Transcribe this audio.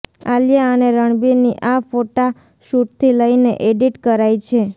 આલિયા અને રણબીરની આ ફોટાશૂટથી લઈને એડિટ કરાઈ છે